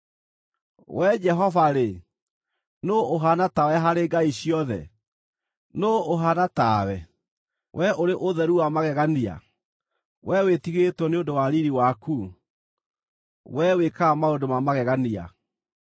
“Wee Jehova-rĩ, nũũ ũhaana tawe harĩ ngai ciothe? Nũũ ũhaana tawe, wee ũrĩ ũtheru wa magegania, wee wĩtigĩrĩtwo nĩ ũndũ wa riiri waku, wee wĩkaga maũndũ ma magegania?